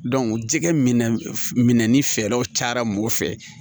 jɛgɛ minɛ ni fɛɛrɛw cayara mɔgɔ fɛ